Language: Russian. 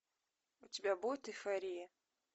у тебя будет эйфория